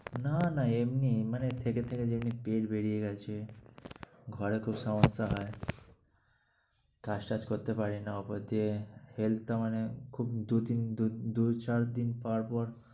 না না এমনি মানে থেকে থেকে যেমনি পেট বেড়িয়ে গেছে, ঘরে খুব সমস্যা হয়, কাজ টাজ করতে পারিনা। ওপর দিয়ে health টা মানে খুব দু তিন দু~ দু চার দিন পর পর